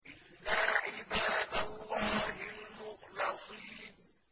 إِلَّا عِبَادَ اللَّهِ الْمُخْلَصِينَ